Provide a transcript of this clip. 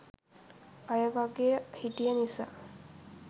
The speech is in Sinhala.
අය වගේ හිටිය නිසා